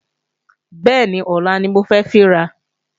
Bẹ́ẹ̀ni, ọlá ni mo fẹ́ fín ra